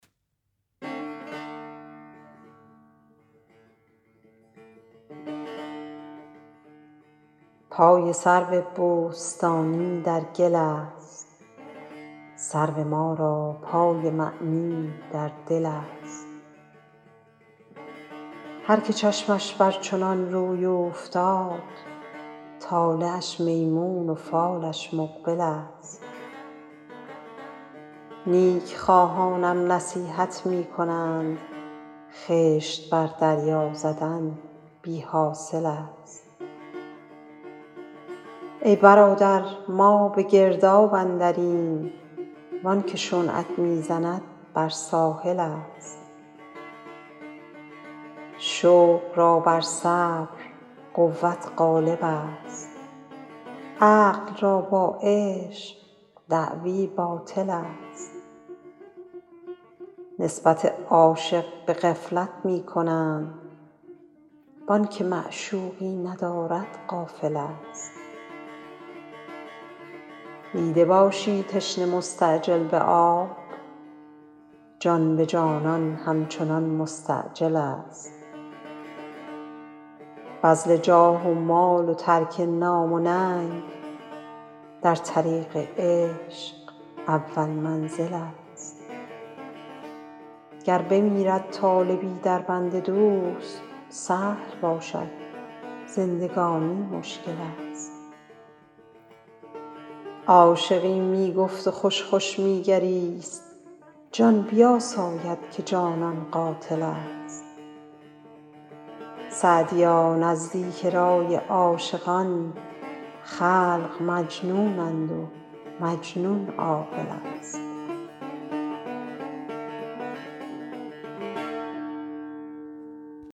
پای سرو بوستانی در گل است سرو ما را پای معنی در دل است هر که چشمش بر چنان روی اوفتاد طالعش میمون و فالش مقبل است نیک خواهانم نصیحت می کنند خشت بر دریا زدن بی حاصل است ای برادر ما به گرداب اندریم وان که شنعت می زند بر ساحل است شوق را بر صبر قوت غالب است عقل را با عشق دعوی باطل است نسبت عاشق به غفلت می کنند وآن که معشوقی ندارد غافل است دیده باشی تشنه مستعجل به آب جان به جانان همچنان مستعجل است بذل جاه و مال و ترک نام و ننگ در طریق عشق اول منزل است گر بمیرد طالبی در بند دوست سهل باشد زندگانی مشکل است عاشقی می گفت و خوش خوش می گریست جان بیاساید که جانان قاتل است سعدیا نزدیک رای عاشقان خلق مجنونند و مجنون عاقل است